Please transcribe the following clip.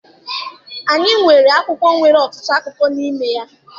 Anyị nweburu akwụkwọ nwere ọtụtụ akụkọ n'ime ya.